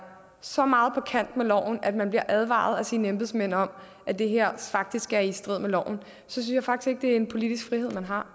så meget på kant med loven at man bliver advaret af sine embedsmænd om at det her faktisk er i strid med loven synes jeg faktisk ikke det er en politisk frihed man har